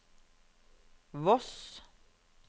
Voss